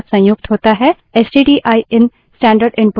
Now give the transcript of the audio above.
stdin stdin standard input stream है